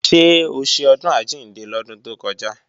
Ṣé o ṣe Ọdún Àjíǹde lọ́dún tó kọjá?